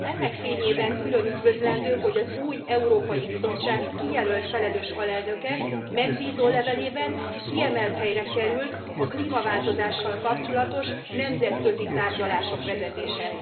Ennek fényében külön üdvözlendő, hogy az új Európai Bizottság kijelölt felelős alelnöke megbízólevelében kiemelt helyre került a klímaváltozással kapcsolatos nemzetközi tárgyalások vezetése.